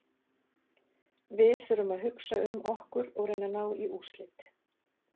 Við þurfum að hugsa um okkur og reyna ná í úrslit.